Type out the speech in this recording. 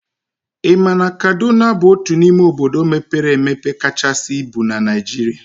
I ma na Kaduna bụ otu n'ime obodo mepere emepe kachasị ibu na Naijiria?